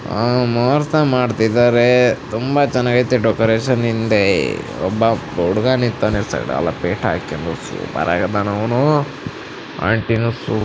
ಅಹ್ ಮೊರ್ಸ ಮಾಡ್ತಿದಾರೆ ತುಂಬ ಚೆನ್ನಾಗಿ ಇದೆ ಡೆಕೋರೇಷನ್ ಹಿಂದೆ ಒಬ್ಬ ಹುಡುಗ ನಿಂತಾನ ಸೈಡ ಲ್ಲಿ ಪೇಟ ಹಾಕೊಂಡು ಸೂಪರ್ ಆಗಿ ಆದ್ದಾನೆ ಅವನು ಆಂಟಿ ನೂ ಸೂಪ್ --